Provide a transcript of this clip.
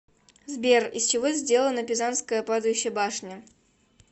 сбер из чего сделано пизанская падающая башня